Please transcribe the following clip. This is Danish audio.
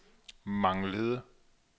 manglede